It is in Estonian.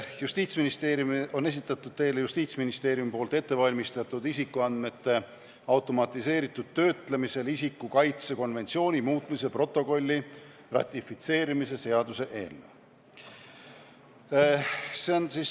Justiitsministeerium on esitanud teile ministeeriumis ette valmistatud isikuandmete automatiseeritud töötlemisel isiku kaitse konventsiooni muutmise protokolli ratifitseerimise seaduse eelnõu.